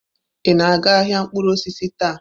Ị na-aga ahịa mkpụrụ osisi taa?